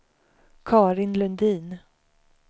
Carin Lundin